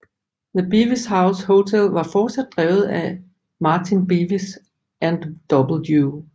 The Bevis House hotel var fortsat drevet af af Martin Bevis and W